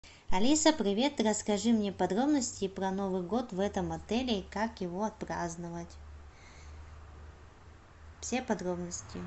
алиса привет расскажи мне подробности про новый год в этом отеле и как его отпраздновать все подробности